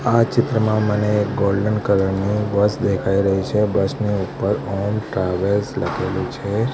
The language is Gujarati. આ ચિત્રમાં મને ગોલ્ડન કલર ની બસ દેખાય રહી છે બસ ની ઉપર ઓમ ટ્રાવેલ્સ લખેલું છે.